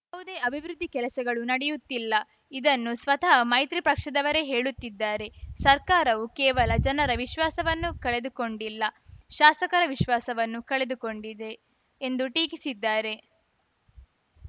ಯಾವುದೇ ಅಭಿವೃದ್ಧಿ ಕೆಲಸಗಳು ನಡೆಯುತ್ತಿಲ್ಲ ಇದನ್ನು ಸ್ವತಃ ಮೈತ್ರಿ ಪಕ್ಷದವರೇ ಹೇಳುತ್ತಿದ್ದಾರೆ ಸರ್ಕಾರವು ಕೇವಲ ಜನರ ವಿಶ್ವಾಸವನ್ನು ಕಳೆದುಕೊಂಡಿಲ್ಲ ಶಾಸಕರ ವಿಶ್ವಾಸವನ್ನೂ ಕಳೆದುಕೊಂಡಿದೆ ಎಂದು ಟೀಕಿಸಿದ್ದಾರೆ